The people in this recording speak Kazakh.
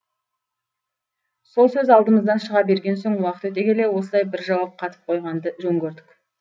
сол сөз алдымыздан шыға берген соң уақыт өте келе осылай бір жауап қатып қойғанды жөн көрдік